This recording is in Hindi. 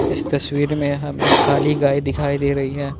इस तस्वीर में हम एक काली गाय दिखाई दे रही है।